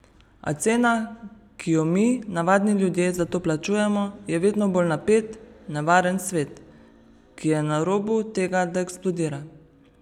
A cena, ki jo mi, navadni ljudje, za to plačujemo, je vedno bolj napet, nevaren svet, ki je na robu tega, da eksplodira.